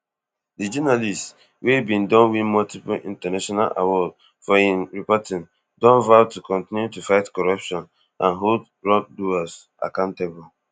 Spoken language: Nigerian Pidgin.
di journalist wey bin don win multiple international awards for im reporting don vow to continue to fight corruption and hold wrongdoers accountable